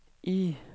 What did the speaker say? Y